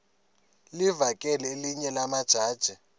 livakele elinye lamaqhaji